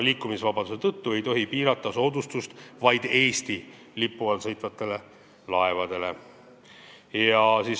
Liikumisvabaduse tõttu ei tohi soodustust piirata, st seda vaid Eesti lipu all sõitvatele laevadele kehtestada.